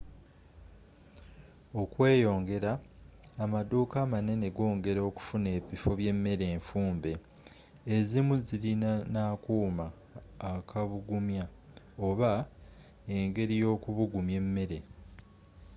okweeyongera amaduuka amanene goongera okufuna ebifo bye mmere enfumbe ezimu zilina n'akuuma akubugumya oba enegeri yookubugumya emmere